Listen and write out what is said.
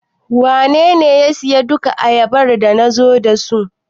Wanene ya siyar da duka ayabar da nazo da su?